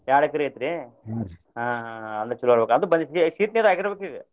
ಎರಡ್ ಎಕ್ರೆ ಐತ್ರಿ ಹ ಹ ಅಂದ್ರ ಚೊಲೋ ಇರ್ಬೆಕ ಅದು ಬಂದಿರಬೇಕ್ರಿ ಈಗ ಆಗಿರಬೇಕ್ರಿ ಈಗ.